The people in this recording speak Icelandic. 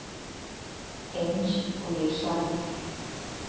Eins og ég sjálfur.